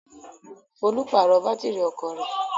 Folú pàrọ̀ bátírí ọkọ rẹ̀.